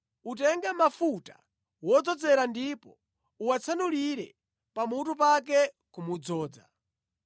Utenge mafuta wodzozera ndipo uwatsanulire pamutu pake kumudzoza.